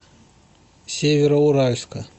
североуральска